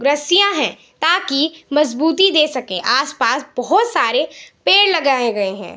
रस्सियाँ है ताकि मजबूती दे सके आसपास बहोत सारे पेड़ लगाए गये है ।